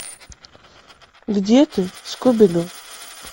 где ты скуби ду